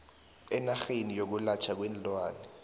ngenarheni yokwelatjhwa kweenlwana